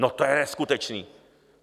No to je neskutečné!